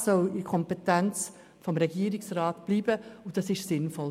Das soll in der Kompetenz des Regierungsrats bleiben, das ist sinnvoll.